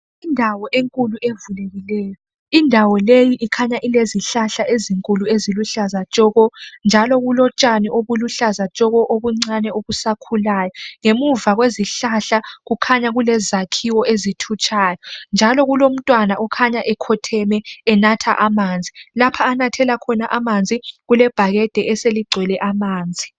Indawo enkulu evulekileyo indawo leyi ikhanya ilezihlahla ezinkulu eziluhlaza tshoko njalo kulotshani obuluhlaza tshoko obusakhulayo ngemuva kwezihlahla kukhanya kulezakhiwo ezithutshayo njalo kulomntwana okhanya ekhotheme enatha amanzi, lapha onathela khona amanzi kulebhakede eseligcwele amanzi.